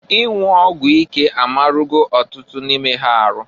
Inwu ọgwụ ike amarụgo ọtụtụ n'ime ha arụ.